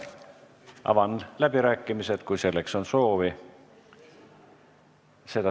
Avan läbirääkimised, kui on kõnesoove.